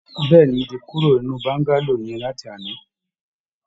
Bẹ́ẹ̀ ni, mo ti kó kúrò nínú Bọ́ńgálò yẹn láti àná